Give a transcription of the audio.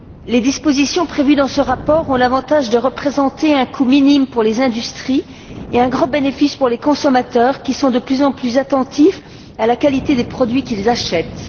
Les dispositions prévues dans ce rapport ont l'avantage de représenter un coût minime pour les industries et un grand bénéfice pour les consommateurs, qui sont de plus en attentifs à la qualité des produits qu'ils achètent.